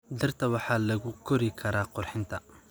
Dhirta waxaa lagu kori karaa qurxinta.